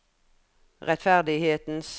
rettferdighetens